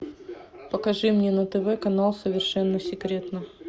покажи мне на тв канал совершенно секретно